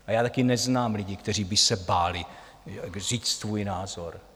A já také neznám lidi, kteří by se báli říct svůj názor.